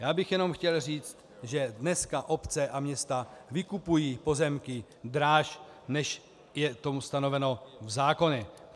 Já bych jenom chtěl říct, že dneska obce a města vykupují pozemky dráž, než je to ustanoveno v zákoně.